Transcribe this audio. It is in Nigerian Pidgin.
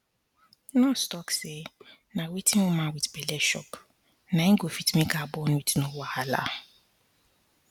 nurse talk say na wetin woman wit belle chop na go fit make her born wit no wahala